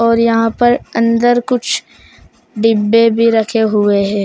और यहां पर अंदर कुछ डिब्बे भी रखे हुए है।